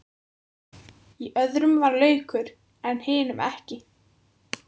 Í öðrum var laukur en hinum ekki.